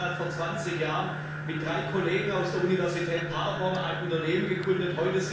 Herr Hanselmann hat vor zwanzig Jahren mit drei Kollegen aus der Universität Paderborn ein Unternehmen gegründet.